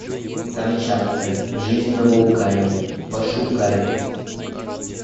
камчатка жизнь на вулкане пошукай